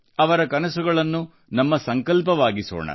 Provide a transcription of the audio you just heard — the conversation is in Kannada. ಅವರ ಕನಸುಗಳನ್ನು ನಮ್ಮ ಸಂಕಲ್ಪವಾಗಿಸೋಣ